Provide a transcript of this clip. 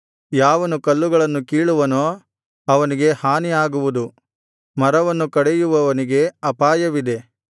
ಯಾವನು ಕಲ್ಲುಗಳನ್ನು ಕೀಳುವನೋ ಅವನಿಗೆ ಹಾನಿ ಆಗುವುದು ಮರವನ್ನು ಕಡೆಯುವವನಿಗೆ ಅಪಾಯವಿದೆ